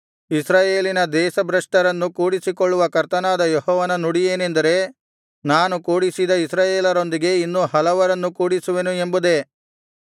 ಇಸ್ರಾಯೇಲಿನ ದೇಶಭ್ರಷ್ಟರನ್ನು ಕೂಡಿಸಿಕೊಳ್ಳುವ ಕರ್ತನಾದ ಯೆಹೋವನ ನುಡಿಯೇನೆಂದರೆ ನಾನು ಕೂಡಿಸಿದ ಇಸ್ರಾಯೇಲರೊಂದಿಗೆ ಇನ್ನೂ ಹಲವರನ್ನು ಕೂಡಿಸುವೆನು ಎಂಬುದೇ